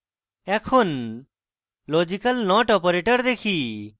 এখন logical not operator দেখি